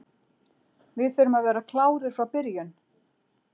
Við þurfum að vera klárir frá byrjun.